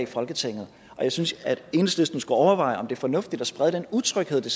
folketinget og jeg synes at enhedslisten skulle overveje om det er fornuftigt at sprede den utryghed det